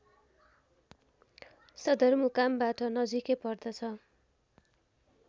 सदरमुकामबाट नजिकै पर्दछ